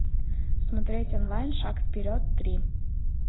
смотреть онлайн шаг вперед три